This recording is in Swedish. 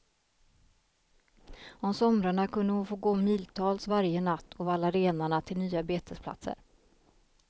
Om somrarna kunde hon få gå miltals varje natt och valla renarna till nya betesplatser.